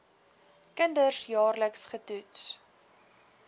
kinders jaarliks getoets